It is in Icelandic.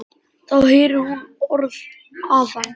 Þá heyrir hún orð afans.